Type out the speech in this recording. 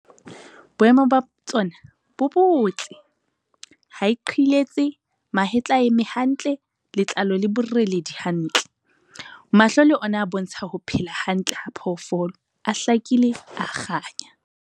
Boemo ba tsona bo botle - ha e qhiletse, mahetla a eme hantle, letlalo le boreledi hantle. Mahlo le ona a bontsha ho phela hantle ha phoofolo, a hlakile, a kganya.